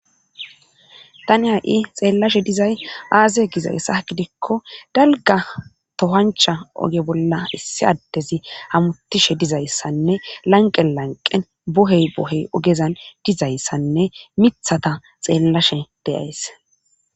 Tani ha'i xeellashe dizay aaze gizayssa gidikko dalga tohancha oge bolla issi addezi hamutishe dizayssanne lanqe lanqen bohey bohey ogezan dizayssanne mithata xeellashe deyays.